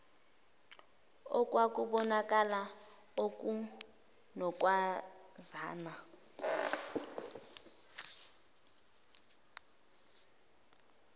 okwakubon akala okunokwazana